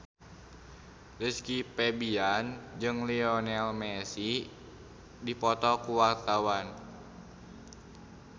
Rizky Febian jeung Lionel Messi keur dipoto ku wartawan